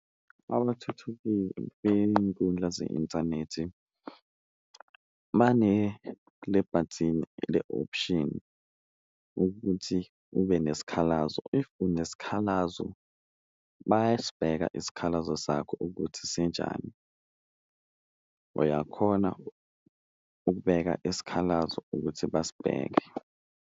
beyinkundla ze-inthanethi banelebhathini le-option ukuthi ube nesikhalazo, if unesikhalazo bayasibheka isikhalazo sakho ukuthi sinjani, uyakhona ukubeka isikhalazo ukuthi basibheke.